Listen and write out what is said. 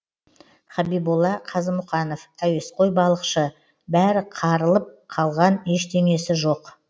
хабиболла қазымұқанов әуесқой балықшы бәрі қарылып қалған ештеңесі жоқ